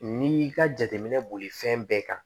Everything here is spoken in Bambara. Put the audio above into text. N'i y'i ka jateminɛ boli fɛn bɛɛ kan